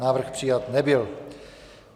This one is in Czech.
Návrh přijat nebyl.